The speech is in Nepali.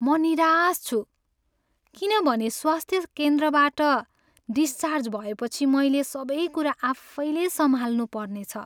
म निराश छु किनभने स्वास्थ्य केन्द्रबाट डिस्चार्ज भएपछि मैले सबै कुरा आफैँले सम्हाल्नु पर्नेछ।